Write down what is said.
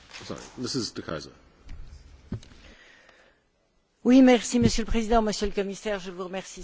Monsieur le Président, Monsieur le Commissaire, je vous remercie sincèrement pour les éclaircissements que vous nous avez donnés.